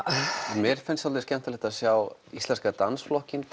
mér finnst svolítið skemmtilegt að sjá íslenska dansflokkinn